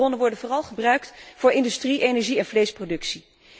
Natuurlijke hulpbronnen worden vooral gebruikt voor industrie, energie en vleesproductie.